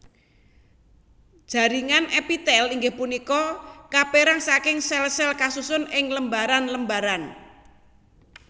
Jaringan èpitèl inggih punika kapèrang saking sèl sèl kasusun ing lembaran lembaran